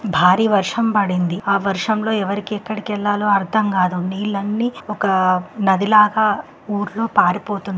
భారీ వర్షం పడింది. ఆ వర్షం లో ఎవరికి ఇక్కడికి వెళ్లా లో అర్థం కాదు. నీళ్లన్నీ ఒక నది లాగా ఊరు పారిపోతుంది.